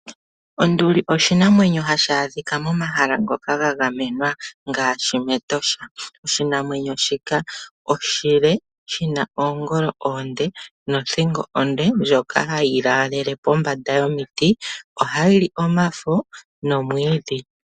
Onduli oshinamwenyo hashi adhika momahala ngoka gagamenwa ngaashi mEtosha. Oshinamwenyo shika oshile, shi na oongolo oonde, nothingo onde ndjoka hayi laalele pombanda yomiti. Ohayi li omafo nomwiidhi.